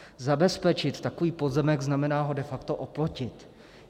Zabezpečit takový pozemek znamená ho de facto oplotit.